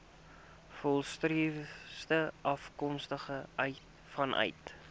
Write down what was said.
volstruise afkomstig vanuit